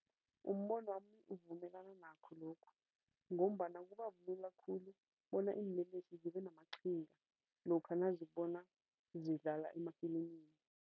Umbonwami uvumelana nakho lokhu ngombana kubabulula khulu bona iinlelesi zibenamaqhinga lokha nazibona zidlala emafilimini.